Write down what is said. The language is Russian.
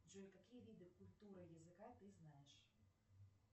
джой какие виды культуры языка ты знаешь